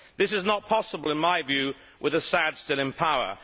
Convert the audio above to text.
This is not possible, in my view, with Assad still in power.